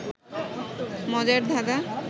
মজার ধাঁধাঁ